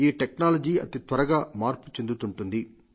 ఈ టెక్నాలజీ అతి త్వరగా మార్పు చెందుతుంటుంది